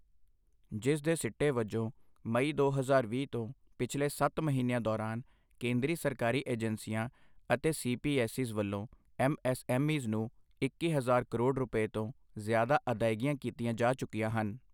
ਜਿਸ ਦੇ ਸਿੱਟੇ ਵਜੋਂ ਮਈ ਦੋ ਹਜ਼ਾਰ ਵੀਹ ਤੋਂ ਪਿਛਲੇ ਸੱਤ ਮਹੀਨਿਆਂ ਦੌਰਾਨ ਕੇਂਦਰੀ ਸਰਕਾਰੀ ਏਜੰਸੀਆਂ ਅਤੇ ਸੀ ਪੀ ਐੱਸ ਈਜ਼ ਵੱਲੋਂ ਐੱਮ ਐੱਸ ਐੱਮ ਈਜ਼ ਨੂੰ ਇੱਕੀ ਹਜ਼ਾਰ ਕਰੋੜ ਰੁਪਏ ਤੋਂ ਜਿ਼ਆਦਾ ਅਦਾਇਗੀਆਂ ਕੀਤੀਆਂ ਜਾ ਚੁੱਕੀਆਂ ਹਨ।